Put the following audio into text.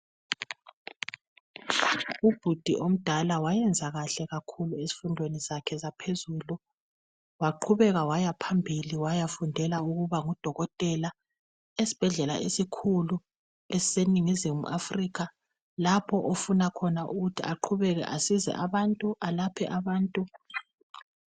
Ubhudi omdala wayenza kahle kakhulu ezifundweni zakhe zaphezulu waqhubeka wayaphambili wayafundela ukuba ngudokotela esibhedlela esikhulu esiseningizimu Africa lapho ofuna khona ukuthi aqhubeke asize abantu alaphe abantu